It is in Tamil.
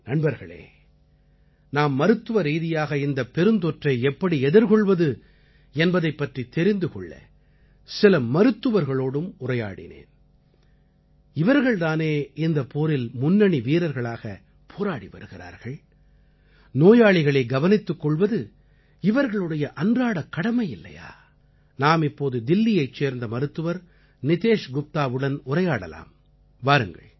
நண்பர்களே நாம் மருத்துவரீதியாக இந்தப் பெருந்தொற்றை எப்படி எதிர்கொள்வது என்பதைப் பற்றித் தெரிந்து கொள்ள சில மருத்துவர்களோடும் உரையாடினேன் இவர்கள் தானே இந்தப் போரில் முன்னணி வீரர்களாகப் போராடி வருகிறார்கள் நோயாளிகளை கவனித்துக் கொள்வது இவர்களுடைய அன்றாடக் கடமை இல்லையா நாம் இப்போது தில்லியைச் சேர்ந்த மருத்துவர் நிதேஷ் குப்தாவுடன் உரையாடலாம் வாருங்கள்